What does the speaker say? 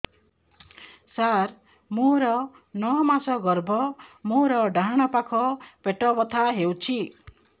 ସାର ମୋର ନଅ ମାସ ଗର୍ଭ ମୋର ଡାହାଣ ପାଖ ପେଟ ବଥା ହେଉଛି